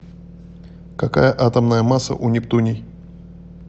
какая атомная масса у нептуний